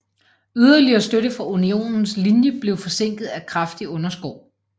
Yderligere støtte fra Unionens linje blev forsinket af kraftig underskov